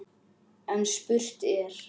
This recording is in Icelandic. En spurt er: